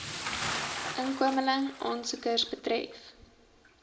inkomeling aansoekers betref